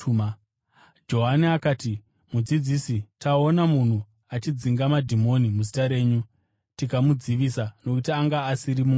Johani akati, “Mudzidzisi, taona munhu achidzinga madhimoni muzita renyu tikamudzivisa, nokuti anga asiri mumwe wedu.”